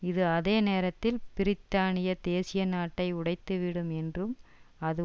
இது அதே நேரத்தில் பிரித்தானிய தேசிய நாட்டை உடைத்து விடும் என்றும் அது